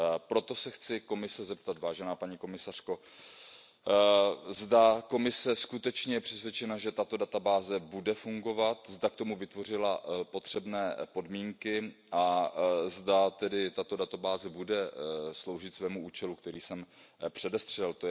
Proto se chci Komise zeptat, vážená paní komisařko, zda Komise skutečně je přesvědčena, že tato databáze bude fungovat, zda k tomu vytvořila potřebné podmínky a zda tato databáze bude sloužit svému účelu, který jsem předestřel.